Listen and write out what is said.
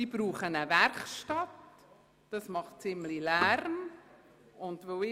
Diese benötigen eine Werkstatt, welche einen ziemlichen Lärm verursachen wird.